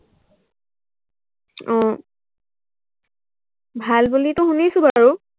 আহ ভাল বুলিতো শুনিছো বাৰু